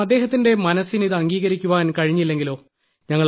കാരണം അദ്ദേഹത്തിന്റെ മനസ്സിന് ഇതംഗീകരിക്കുവാൻ കഴിഞ്ഞില്ലെങ്കിലോ